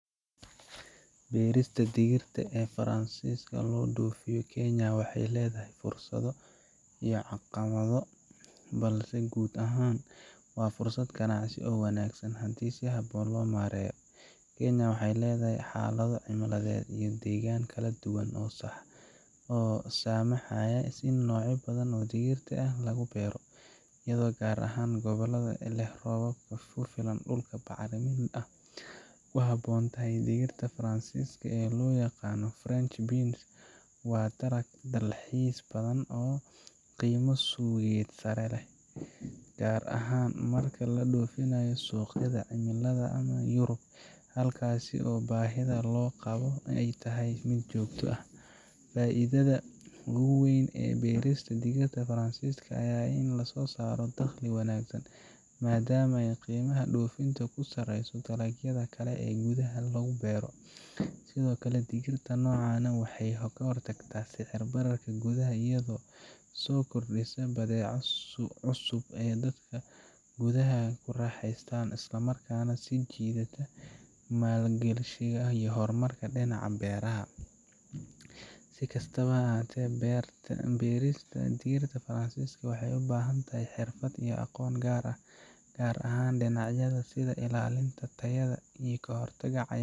Berista digirta ee fransiska lodofiyo, kenya waxay ledahay fursado iyo caqibado balse gud ahan wa fursad ganacsi oo wanagsan hadi si habon lomareyo, kenya waxay ledahay xalado cimiladed iyo degan kaladuwan oo samaxayah si nocyo badhan oo digirta ah lagu bero iyado gar ahan gobolada leh, robab dulka kufilan bacrimin ah kuhabontahy digirta fransiska oo loyaqano french beans waa talag dalxis badhan oo qiymo suqyo sare leh gar ahan marki ladofinayo suqyada cimilada europe halkasi oo bahida loqabo aay tahay mid jogto ah faidadda aay ledahay berista digirta fransiska aya ah ini lasosaro daqli wanagsan, madam oo qimaha dofinta kusareyso dalagyada kale ee gudaha lagu bero, sidiokale digirta nocan ah waxay kahortagta sixir bararka gudaha iyodo sokordisa badeco cusub ee dadka gudaha kuraxeystan islamarka nah sijidada malgashiga iyo dinaca beraha si kastabo hate berista digirta fransiska waxay ubahantahy xirfad iyo aqon gar ah, gar ahan dinacyada sidha ilalinta tayada.